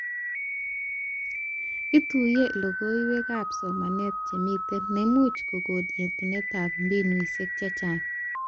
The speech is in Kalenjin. Ituyee logoiwekab somanet chemite nemuch kokon yetunetab mbinuishek chechang